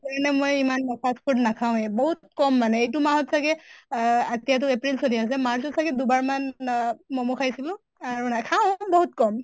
এনে মই ইমান fast food নাখাওঁয়ে বহুত কম মানে। এইটো মাহত চাগে আহ এতিয়াতো april চলি আছে march ত চাগে দুবাৰ মান আহ মʼমʼ খাইছিলো। আৰু নাখাওঁ বহুত কম।